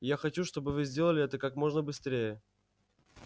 и я хочу чтобы вы сделали это как можно быстрее